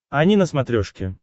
ани на смотрешке